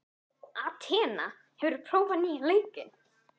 Atena, hefur þú prófað nýja leikinn?